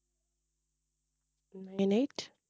nine eight